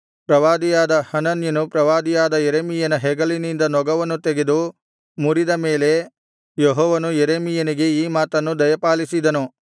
ಪ್ರವಾದಿಯಾದ ಹನನ್ಯನು ಪ್ರವಾದಿಯಾದ ಯೆರೆಮೀಯನ ಹೆಗಲಿನಿಂದ ನೊಗವನ್ನು ತೆಗೆದು ಮುರಿದ ಮೇಲೆ ಯೆಹೋವನು ಯೆರೆಮೀಯನಿಗೆ ಈ ಮಾತನ್ನು ದಯಪಾಲಿಸಿದನು